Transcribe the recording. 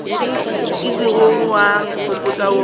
o ilego wa nkgopotša wo